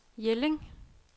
Jelling